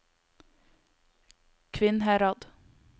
Kvinnherad